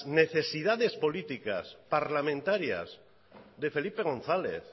necesidades políticas y parlamentarias de felipe gonzález